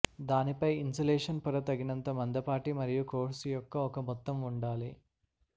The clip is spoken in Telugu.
దానిపై ఇన్సులేషన్ పొర తగినంత మందపాటి మరియు కోర్సు యొక్క ఒక మొత్తం ఉండాలి